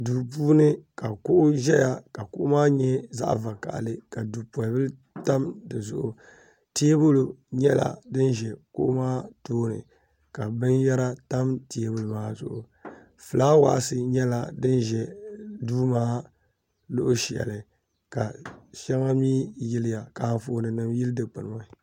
duu puuni ka kuɣu zaya ka kuɣu maa nye zaɣ'vakahili ka dupolibila tam di zuɣu teebuli nyɛla din za kuɣu maa tooni ka binyɛra tam teebuli maa zuɣu fulaawasi nyɛla din za duu maa luɣ'shɛli ka shɛŋa mi yiliya ka anfoonima yili dikpuni maa